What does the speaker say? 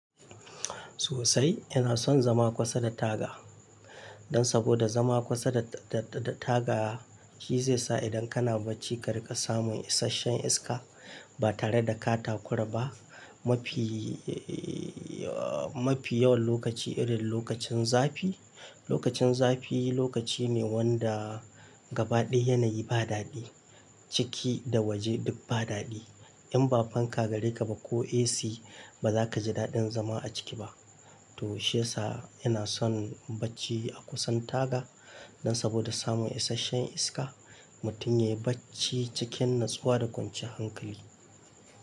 Sosai ina son zama kusa da taga. Dan saboda zama kusa da, da, da taga shi zai sa idan kana bacci kar ka samu isashen iska ba tare da ka takura ba. Mafi, uh, mafi yawan lokaci irin lokacin zafi. Lokacin zafi lokaci ne wanda gaba ɗaya yanayi ba daɗi. Ciki da waje duk ba daɗi. In ba fanka gare ka ba ko AC ba za ka ji daɗin zama a ciki ba. To shiyasa, ina son bacci a kusan taga. Dan saboda samun isashen iska mutum ya yi bacci cikin natsuwa da kwancan hankali.